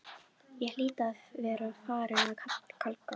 Ég hlýt að vera farin að kalka,